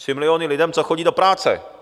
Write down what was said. Tři miliony lidem, co chodí do práce!